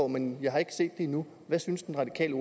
men jeg har ikke set det endnu hvad synes den radikale